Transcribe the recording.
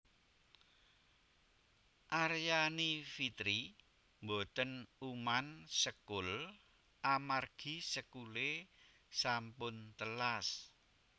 Aryani Fitri mboten uman sekul amargi sekule sampun telas